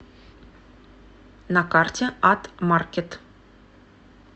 на карте ат маркет